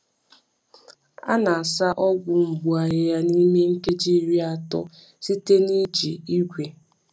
A na-asa ọgwụ mgbu ahịhịa n’ime nkeji iri atọ nkeji iri atọ site n’iji igwe.